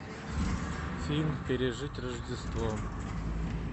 фильм пережить рождество